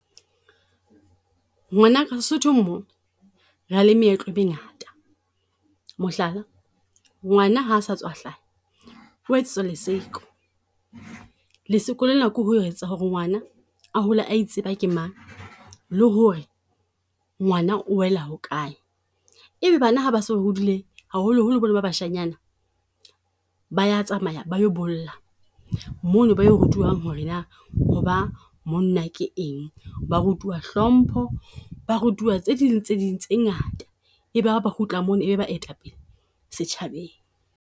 Ngwanaka Lesotho mo re na le meetlo e mengata, mohlala ngwana ha sa tswa hlaha o etsetswa leseko. Leseko le na ke ho etsa ho re ngwana a hole a itseba ke mang, le ho re ngwana o wela ho kae. Ebe bana ha ba so hodile haholo holo ba na ba bashanyana, ba ya tsamana ba lo bolla. Mo no ba yo rutuwang ho re na hoba monna ke eng. Ba rutuwa hlompho, ba rutuwa tse ding le tse ding tse ngata e be ha ba kgutla mo no ebe ba etapele setjhabeng.